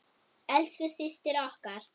Elsku systir okkar.